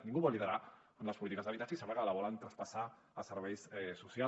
ningú vol liderar les polítiques d’habitatge i sembla que la volen traspassar a serveis socials